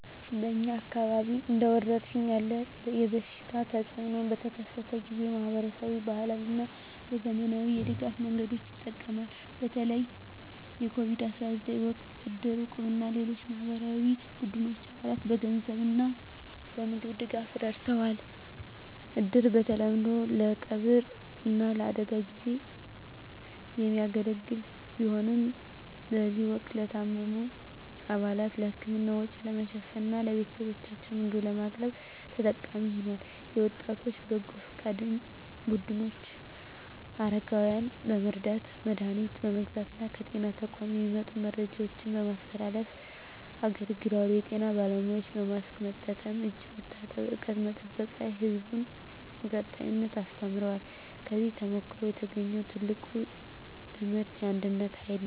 በእኛ አካባቢ እንደ ወረርሽኝ ያለ የበሽታ ተፅእኖ በተከሰተበት ጊዜ፣ ማኅበረሰቡ በባህላዊ እና በዘመናዊ የድጋፍ መንገዶች ይጠቀማል። በተለይ የCOVID-19 ወቅት እድር፣ እቁብ እና ሌሎች የማኅበራዊ ቡድኖች አባላትን በገንዘብ እና በምግብ ድጋፍ ረድተዋል። እድር በተለምዶ ለቀብር እና ለአደጋ ጊዜ የሚያገለግል ቢሆንም፣ በዚህ ወቅት ለታመሙ አባላት የሕክምና ወጪ ለመሸፈን እና ለቤተሰቦቻቸው ምግብ ለማቅረብ ተጠቃሚ ሆኗል። የወጣቶች በጎ ፈቃድ ቡድኖች አረጋውያንን በመርዳት፣ መድሀኒት በመግዛት እና ከጤና ተቋማት የሚመጡ መረጃዎችን በማስተላለፍ አገልግለዋል። የጤና ባለሙያዎችም በማስክ መጠቀም፣ እጅ መታጠብ እና ርቀት መጠበቅ ላይ ሕዝቡን በቀጣይነት አስተምረዋል። ከዚህ ተሞክሮ የተገኘው ትልቁ ትምህርት የአንድነት ኃይል ነው።